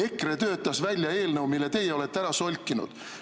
EKRE töötas välja eelnõu, mille teie olete ära solkinud.